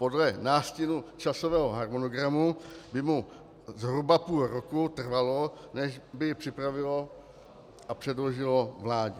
Podle nástinu časového harmonogramu by mu zhruba půl roku trvalo, než by ji připravilo a předložilo vládě.